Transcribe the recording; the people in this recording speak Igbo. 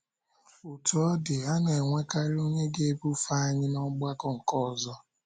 Otú ọ dị, a na - enwekarị onye ga - ebufe anyị n’ọgbakọ nke ọzọ.